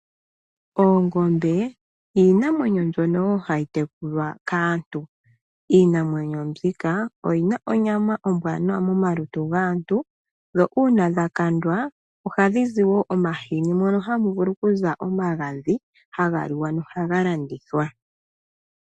Oongombe iinamwenyo mbyono wo hayi tekulwa kaantu. Iinamwenyo mbika oyi na onyama ombwaanawa momalutu gaantu, dho uuna dha kandwa oha dhi zi wo omahini, mono hamu vulu ku za omagadhi haga liwa, no haga landithwa.